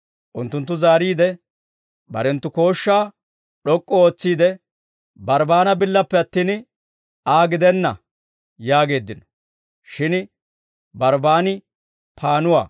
Unttunttu zaariide, barenttu kooshshaa d'ok'k'u ootsiide, «Barbbaana billappe attin, Aa gidenna!» yaageeddino. Shin Barbbaani paannuwaa.